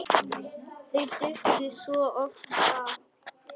Þau duttu svo oft af.